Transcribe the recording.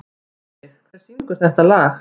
Ísveig, hver syngur þetta lag?